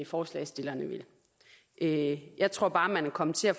forslagsstillerne vil jeg jeg tror bare man er kommet til at